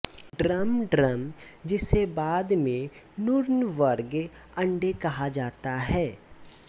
drum drum जिसे बाद में नूर्नबर्ग अंडे कहा जाता है